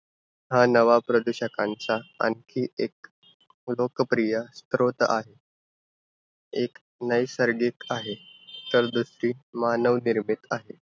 हा नवा प्रदूषकांचा आणखी एक लोकप्रिय स्रोत आहे. एक नैसर्गिक आहे. समृध्दी मानवनिर्मित आहे.